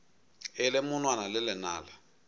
e le monwana le lenala